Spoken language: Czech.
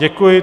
Děkuji.